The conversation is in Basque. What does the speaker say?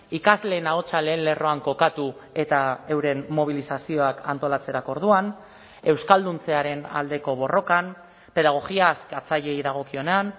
ikasleen ahotsa lehen lerroan kokatu eta euren mobilizazioak antolatzerako orduan euskalduntzearen aldeko borrokan pedagogia askatzaileei dagokionean